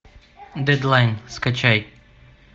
дедлайн скачай